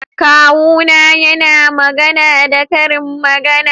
Kawuna yana magana da karin magana